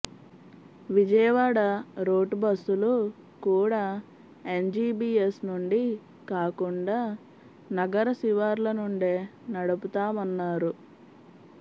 Vijayawada route బస్సులు కూడా MGBS నుండి కాకుండా నగర శివార్ల నుండే నడుపుతామన్నారు